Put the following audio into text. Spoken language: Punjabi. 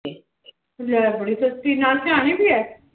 ਲੈ ਬੜੀ ਸਸਤੀ ਨਾਲ ਸਿਰਾਹਣੇ ਵੀ ਹੈ?